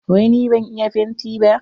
Wai ni ban iya fenti ba?